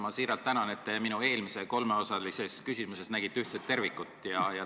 Ma siiralt tänan, et te minu eelmises kolmeosalises küsimuses nägite ühtset tervikut.